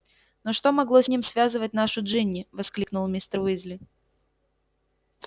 но что могло с ним связывать нашу джинни воскликнул мистер уизли